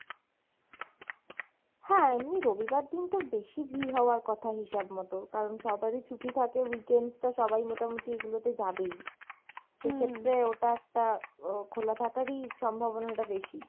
হ্যাঁ, এমনি রবিবার দিন তো বেশি ভিড় হওয়ার কথা হিসাব মত কারন সবারই ছুটি থাকে weekend টা সবাই মোটামুটি এগুলো যে যাবেই, সেক্ষেত্রে ওটা একটা আহ খোলা থাকারই সম্ভাবনা টা বেশি।